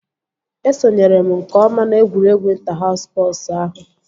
Esonyere m nke ọma na egwuregwu ịnta haus spọsu ahụ